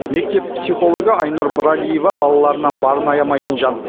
мектеп психологы айнұр бралиева балаларынан барын аямайтын жан